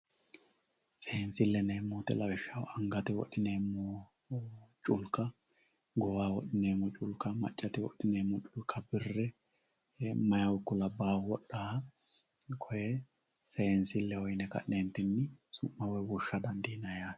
Seensileho yineemmo woyte lawishshaho angate wodhineemmo qulka goowaho wodhineemmotta maccate wodhineemmotta mayihu ikko labbahu wodhanoha koe seensileho yine ka'nentinni su'ma woyi woshsha dandiinanni yaate.